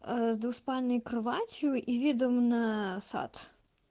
с двуспальной кроватью и видом на сад